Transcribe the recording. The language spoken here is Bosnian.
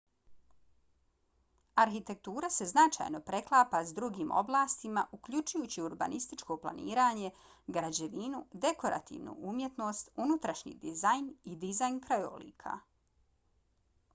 arhitektura se značajno preklapa s drugim oblastima uključujući urbanističko planiranje građevinu dekorativnu umjetnost unutrašnji dizajn i dizajn krajolika